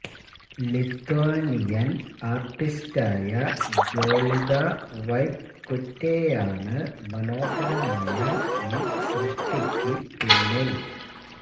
Lithuanian ആര്ട്ടിസ്റ്റായ Jolita വൈറ്റ്കുറ്റെയാണ് മനോഹരമായ ഈ സൃഷ്ടിക്ക് പിന്നില്